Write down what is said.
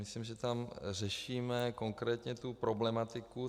Myslím, že tam řešíme konkrétně tu problematiku.